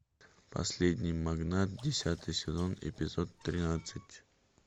последний магнат десятый сезон эпизод тринадцать